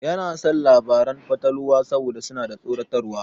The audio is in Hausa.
Yana son labaran fatalwa saboda suna da tsoratarwa.